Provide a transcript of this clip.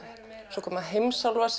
svo koma